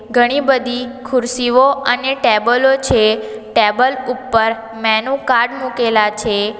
ઘણી બધી ખુરશીઓ અને ટેબલો છે ટેબલ ઉપર મેનુ કાર્ડ મુકેલા છે.